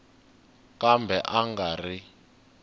kambe a a nga ri